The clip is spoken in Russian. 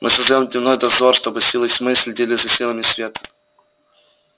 мы создаём дневной дозор чтобы силы тьмы следили за силами света